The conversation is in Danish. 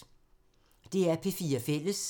DR P4 Fælles